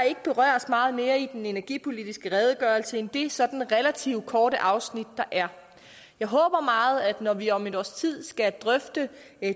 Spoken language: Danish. ikke berøres meget mere i den energipolitiske redegørelse end det sådan relativt korte afsnit der er jeg håber meget at vi når vi om et års tid skal drøfte